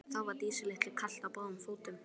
Þá var Dísu litlu kalt á báðum fótum.